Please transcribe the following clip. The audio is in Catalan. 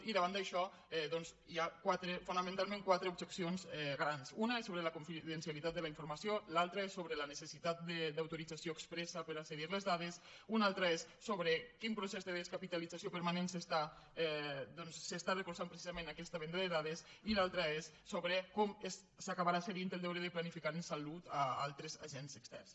i davant d’això doncs hi ha fonamentalment quatre objeccions grans una és sobre la confidencialitat de la informació l’altra és sobre la necessitat d’autorització expressa per a cedir les dades una altra és sobre quin procés de descapitalització permanent s’està recolzant precisament aquesta venda de dades i l’altra és sobre com s’acabarà cedint el deure de planificar en salut a altres agents externs